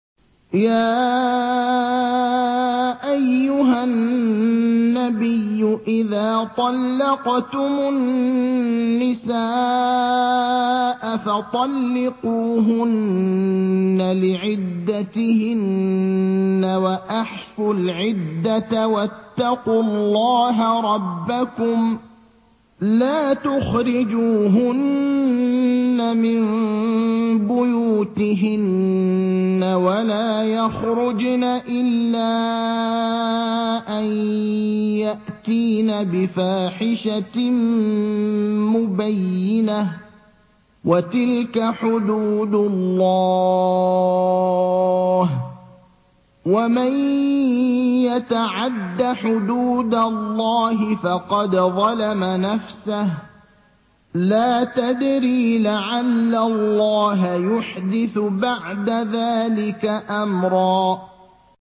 يَا أَيُّهَا النَّبِيُّ إِذَا طَلَّقْتُمُ النِّسَاءَ فَطَلِّقُوهُنَّ لِعِدَّتِهِنَّ وَأَحْصُوا الْعِدَّةَ ۖ وَاتَّقُوا اللَّهَ رَبَّكُمْ ۖ لَا تُخْرِجُوهُنَّ مِن بُيُوتِهِنَّ وَلَا يَخْرُجْنَ إِلَّا أَن يَأْتِينَ بِفَاحِشَةٍ مُّبَيِّنَةٍ ۚ وَتِلْكَ حُدُودُ اللَّهِ ۚ وَمَن يَتَعَدَّ حُدُودَ اللَّهِ فَقَدْ ظَلَمَ نَفْسَهُ ۚ لَا تَدْرِي لَعَلَّ اللَّهَ يُحْدِثُ بَعْدَ ذَٰلِكَ أَمْرًا